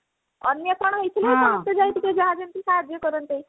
ଅନ୍ୟ କଣ ହଉଛି ନା ସେଥିପାଇଁ ଟିକେ ଯାହା ଯେମିତି ସାହାଯ୍ୟ କରନ୍ତି